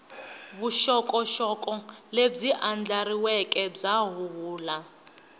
vuxokoxoko lebyi andlariweke bya huhula